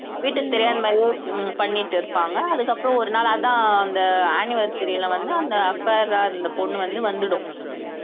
வீட்டுக்கு தெரியாத மாதிரியே உம் பண்ணிட்டு இருப்பாங்க அதுக்கப்புறம் ஒரு நாள் அதான் அந்த anniversary ல வந்து அந்த affair ஆ இருந்த பொண்ணு வந்து வந்துடும்